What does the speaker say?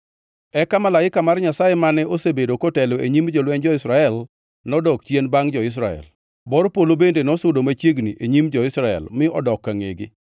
Eka Malaika mar Nyasaye, mane osebedo kotelo e nyim jolwenj jo-Israel, nodok chien bangʼ jo-Israel. Bor polo bende ne osudo machiegni e nyim jo-Israel mi odok ka ngʼegi,